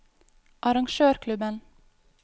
arrangørklubben